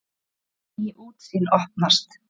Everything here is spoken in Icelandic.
Ný útsýn opnast.